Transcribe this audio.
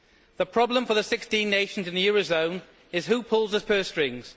The problem for the 16 nations in the eurozone is who pulls the purse strings.